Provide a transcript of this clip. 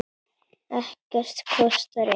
Ekkert kostar inn.